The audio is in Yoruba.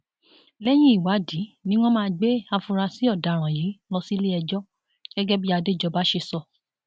lẹyìn ìwádìí ni wọn máa gbé àfúrásì ọdaràn yìí lọ síléẹjọ gẹgẹ bí adéjọba ṣe sọ